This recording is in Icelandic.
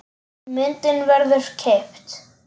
Myndin verður keypt.